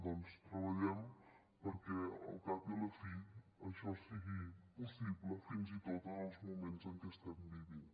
doncs treballem perquè al cap i a la fi això sigui possible fins i tot en els moments en què estem vivint